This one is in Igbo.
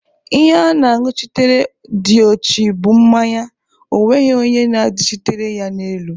Ihe ana-añụchitere diochi bụ mmanya, onweghị onye na-adachitere ya n'elu